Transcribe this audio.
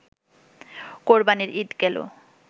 কোরবানির ঈদ গেল